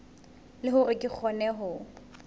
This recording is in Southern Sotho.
le hore re kgone ho